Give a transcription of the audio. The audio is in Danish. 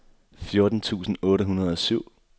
fjorten tusind otte hundrede og syv